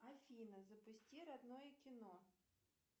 афина запусти родное кино